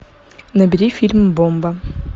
набери фильм бомба